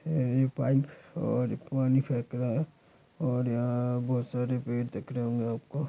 यह पाइप और पानी फेक रहा है और यहाँ बहुत सारे पेड़ दिख रहे होंगे आपको।